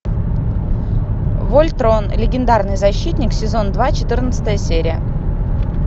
вольтрон легендарный защитник сезон два четырнадцатая серия